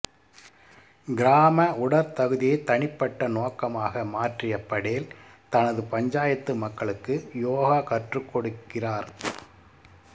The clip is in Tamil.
கிராம உடற்தகுதியை தனிப்பட்ட நோக்கமாக மாற்றிய படேல் தனது பஞ்சாயத்து மக்களுக்கு யோகா கற்றுக்கொடுக்கிறார்